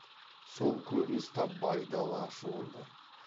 сол көрініс тап байдалы ашуындай